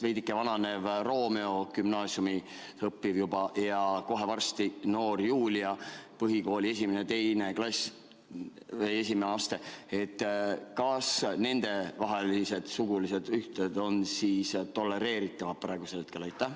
Veidike vananev Romeo, õpib juba gümnaasiumis, ja kohe varsti noor Julia, õpib põhikooli esimeses astmes – kas nendevahelised sugulised ühted on praegu tolereeritavad?